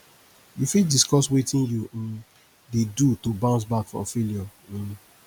you fit discuss wetin you um dey do to bounce back from failure um